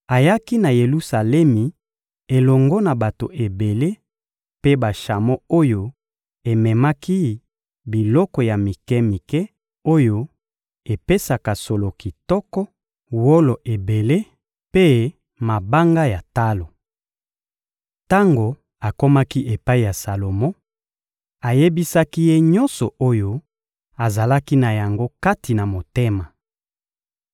ayaki na Yelusalemi elongo na bato ebele mpe bashamo oyo ememaki biloko ya mike-mike oyo epesaka solo kitoko, wolo ebele mpe mabanga ya talo. Tango akomaki epai ya Salomo, ayebisaki ye nyonso oyo azalaki na yango kati na motema.